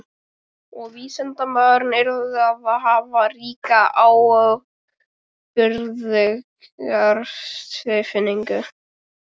Og vísindamaðurinn yrði að hafa ríka ábyrgðartilfinningu.